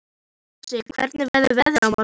Mosi, hvernig verður veðrið á morgun?